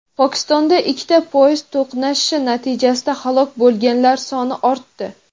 Pokistonda ikkita poyezd to‘qnashishi natijasida halok bo‘lganlar soni ortdi.